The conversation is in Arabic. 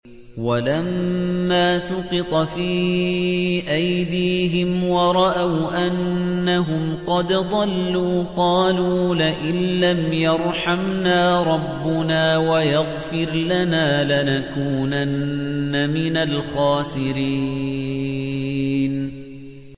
وَلَمَّا سُقِطَ فِي أَيْدِيهِمْ وَرَأَوْا أَنَّهُمْ قَدْ ضَلُّوا قَالُوا لَئِن لَّمْ يَرْحَمْنَا رَبُّنَا وَيَغْفِرْ لَنَا لَنَكُونَنَّ مِنَ الْخَاسِرِينَ